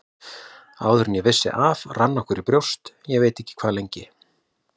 Áður en við vissum af rann okkur í brjóst, ég veit ekki hvað lengi.